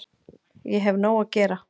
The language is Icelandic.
Ég hef nóg að gera